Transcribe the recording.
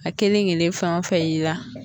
A kelenkelen fɛn o fɛn i la.